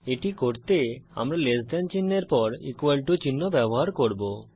এটি করতে আমরা লেস দেন চিনহের পর ইকুয়াল টু চিহ্ন ব্যবহার করব